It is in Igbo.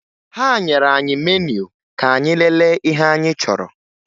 Ha nyere anyị meniu ka anyị lelee ihe anyị chọrọ